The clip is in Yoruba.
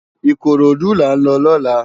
Ikorodu lá n lò lòlá